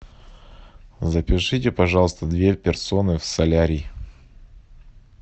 запишите пожалуйста две персоны в солярий